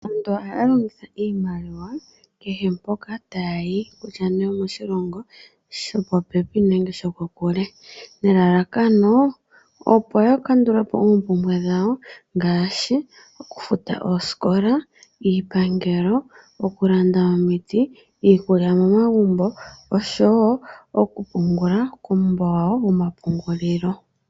Aantu ohaya longitha iimaliwa kehe mpoka taayi kutya nee omoshilongo sho popepi nenge sho kokule, nelalakono opo yakandulepo oompumbwe dhawo ngaashi okufuta oosikola, iipangelo, okulanda omiti, iikulya momagumbo oshowo okupungula kuumbo wawo woma pungulilo.